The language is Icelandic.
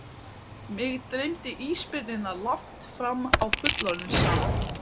Mig dreymdi ísbirnina langt fram á fullorðinsár.